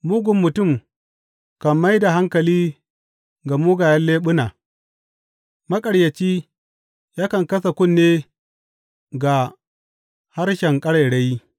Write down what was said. Mugun mutum kan mai da hankali ga mugayen leɓuna; maƙaryaci yakan kasa kunne ga harshen ƙarairayi.